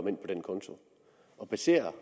ind på den konto baserer